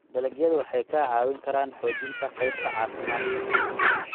Dalagyadu waxay kaa caawin karaan xoojinta qaybta caafimaadka.